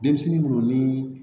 Denmisɛnnin minnu ni